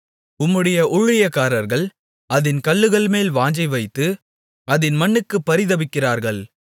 உம்முடைய ஊழியக்காரர்கள் அதின் கல்லுகள்மேல் வாஞ்சைவைத்து அதின் மண்ணுக்குப் பரிதபிக்கிறார்கள்